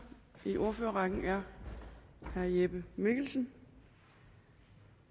i ordførerrækken er herre jeppe mikkelsen